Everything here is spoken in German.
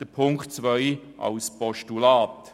Ziffer 2 überwiesen wir als Postulat.